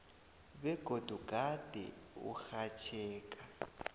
begodu gade urhatjheka